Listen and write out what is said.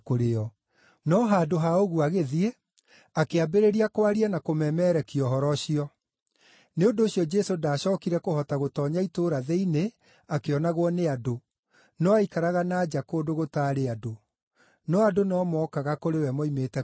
No handũ ha ũguo agĩthiĩ, akĩambĩrĩria kwaria na kũmemerekia ũhoro ũcio. Nĩ ũndũ ũcio Jesũ ndacookire kũhota gũtoonya itũũra thĩinĩ akĩonagwo nĩ andũ, no aikaraga na nja kũndũ gũtaarĩ andũ. No andũ no mookaga kũrĩ we moimĩte kũndũ guothe.